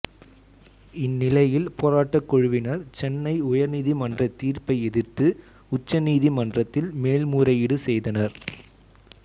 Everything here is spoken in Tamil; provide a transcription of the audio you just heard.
இந்நிலையில் போராட்டக் குழுவினர் சென்னை உயர்நீதிமன்ற தீர்ப்பை எதிர்த்து உச்ச நீதிமன்றத்தில் மேல்முறையீடு செய்தனர்